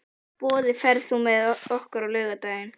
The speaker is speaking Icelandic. Boði, ferð þú með okkur á laugardaginn?